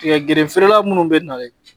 Tigɛ gerefere munnu bɛ nalen